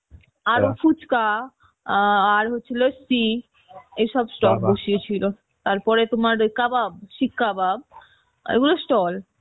ফুচকা অ্যাঁ আর হচ্ছিল এসব বসিয়েছিল তোমার কাবাব শিক কাবাব এগুলো stall